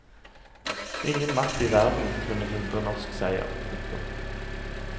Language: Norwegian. Ingen makt i verden kunne hindre norsk seier. punktum